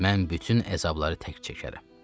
Mən bütün əzabları tək çəkərəm.